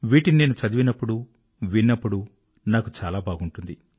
వీటిని నేను చదివినప్పుడు విన్నప్పుడు నాకు చాలా బాగుంటుంది